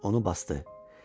Onu basdı.